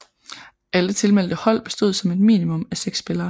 Alle tilmeldte hold bestod som et minimum af 6 spillere